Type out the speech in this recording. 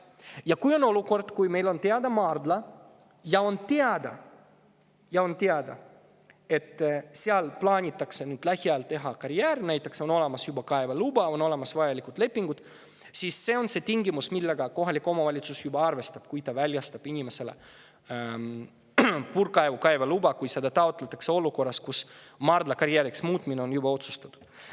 Kui on selline olukord, et meil on teada maardla ja on teada, et seal plaanitakse lähiajal teha karjäär, näiteks on juba olemas kaeveluba ja vajalikud lepingud, siis see on see tingimus, millega kohalik omavalitsus juba arvestab, kui ta väljastab inimesele puurkaevu kaevamise loa, kui seda taotletakse olukorras, kus maardla karjääriks muutmine on juba otsustatud.